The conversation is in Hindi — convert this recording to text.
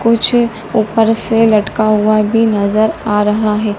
पीछे ऊपर से लटका हुआ भी नजर आ रहा है।